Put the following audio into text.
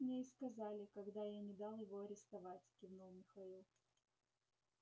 так мне и сказали когда я не дал его арестовать кивнул михаил